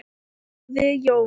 hváði Jón.